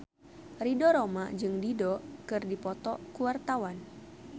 Ridho Roma jeung Dido keur dipoto ku wartawan